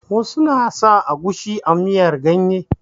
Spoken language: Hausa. Wasu na sa agushi a miyar ganye.